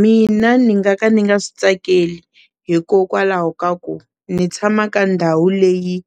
Mina ni nga ka ni nga switsakeli hikokwalaho ka ku ni tshama ka ndhawu leyi,